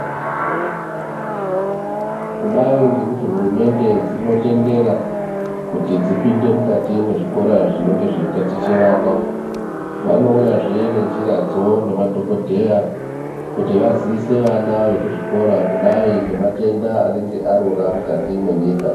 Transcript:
Kudai ngekuti hurumende dzinotendera kuti dzipinde mukati mwezvikora zvinenge zveitaticha vana vanouyazve nenjiradzo nemadhokodheya kuti vaziise vana vekuzvikora kudai ngematenda anenge arora mukati mwenyika.